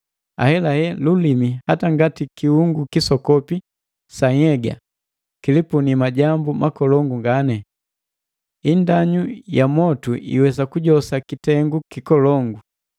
Ahelahela, lulimi hata ngati kiungu kisokopi sa nhyega, kilipuni majambu makolongu ngani. Indanyu ya motu iwesa kujosa kitengu kikolongu.